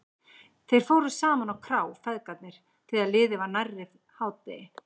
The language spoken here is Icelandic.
Þeir fóru saman á krá, feðgarnir, þegar liðið var nærri hádegi.